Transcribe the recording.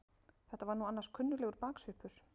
Þetta var nú annars kunnuglegur baksvipur!